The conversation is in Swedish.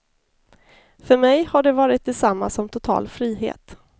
För mig har det varit detsamma som total frihet.